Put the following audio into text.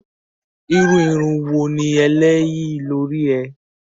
Irú irun wo ni eléyi lórí ẹ?